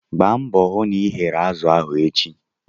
Gbaa mbọ hụ na ị ghere azụ ahụ echi!